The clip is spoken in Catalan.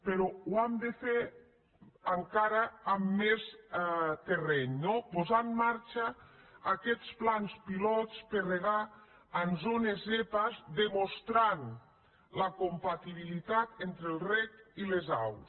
però ho hem de fer encara amb més terreny no posar en marxa aquests plans pilot per regar en zones zepa i demostrar la compatibilitat entre el reg i les aus